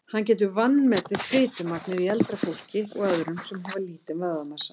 Hann getur vanmetið fitumagnið í eldra fólki og öðrum sem hafa lítinn vöðvamassa.